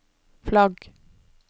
flagg